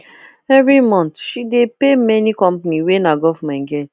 every month she dey pay many company wey nah government get